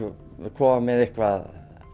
koma með eitthvað